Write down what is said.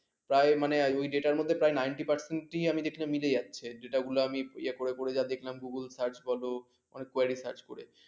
প্রায় ওই data মধ্যে ninty percent প্রায় মিলে যাচ্ছে। যেটা গুলো আমি ইয়ে করে করে যা দেখলাম google search বোলো quary search করে।